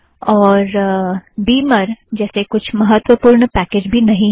और बीमर जैसे कुछ महत्त्वपुर्ण पैकेजज़ भी नहीं है